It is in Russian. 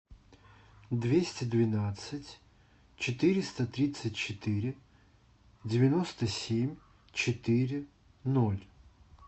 двести двенадцать четыреста тридцать четыре девяносто семь четыре ноль